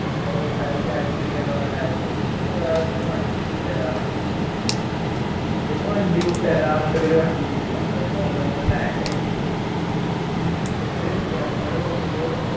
അയാൾ Cancel ചെയ്യാ ന്ന് പറഞ്ഞിട്ട് അയാള് പോയി എന്നിട്ട് പിന്നെ വേറെ പിന്നെ വണ്ടി വിട്ടേര പറഞ്ഞു ഇബാല് വണ്ടി വിട്ടേര പറഞ്ഞിട്ട് പിന്നെ വണ്ടി വിട്ടില്ല അതായത് നല്ലോണം Lag ആയി എന്നിട്ട് ഞങ്ങള് നോക്കുമ്പോ